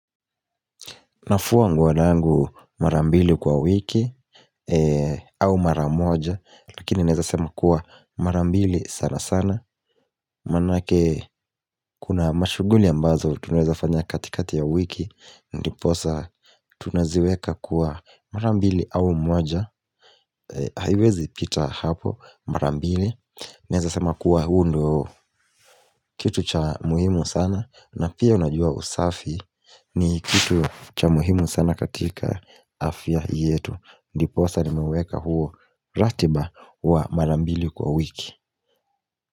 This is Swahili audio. Nafua nguo yangu mara mbili kwa wiki au mara moja lakini naeza sema kuwa mara mbili sana sana manake kuna mashughuli ambazo tunaeza fanya katikati ya wiki ndiposa tunaziweka kuwa mara mbili au moja haiwezi pita hapo mara mbili naeza sema kuwa huu ndo kitu cha muhimu sana na pia unajua usafi ni kitu cha muhimu sana katika afya yetu Ndiposa nimeweka huo ratiba wa mara mbili kwa wiki.